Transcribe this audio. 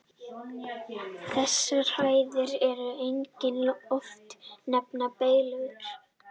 Þessar hæðir eru einnig oft nefndar Beylur.